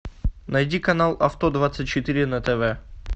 найди канал авто двадцать четыре на тв